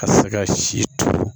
Ka se ka si to